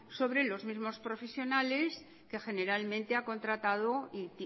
sobre los mismos profesionales que generalmente ha contratado y